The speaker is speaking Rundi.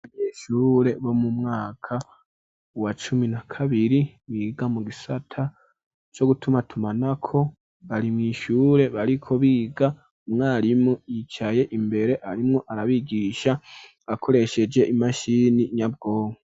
abanyeshure bo mu mwaka wa cumi na kabiri biga mu gisata co gutuma tumanako bari mw,ishure bariko biga umwarimu yicaye imbere arimwo arabigisha akoresheje imashini nyabwonko